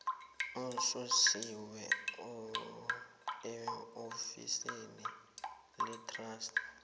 ususiwe eofisini letrust